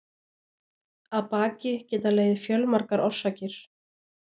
Að baki geta legið fjölmargar orsakir.